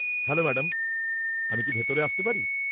Hello madam, আমি কি ভিতরে আসতে পারি?